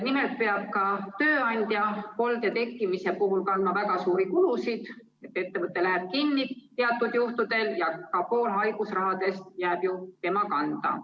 Nimelt peab tööandja kolde tekkimise korral kandma väga suuri kulusid ehk ettevõte läheb kinni teatud juhtudel ja ka pool haigusraha jääb ju tema kanda.